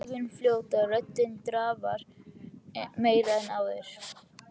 Augun fljóta, röddin drafar meira en áður.